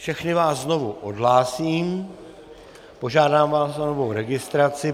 Všechny vás znovu odhlásím, požádám vás o novou registraci.